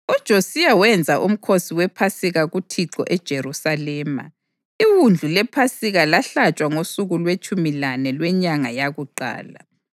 UJosiya wenza uMkhosi wePhasika kuThixo eJerusalema, iwundlu lePhasika lahlatshwa ngosuku lwetshumi lane lwenyanga yakuqala.